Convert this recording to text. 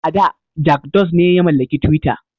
A da Jak Dose ne ya mallaki twitter.